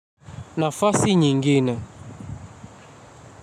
Nafasi nyingine.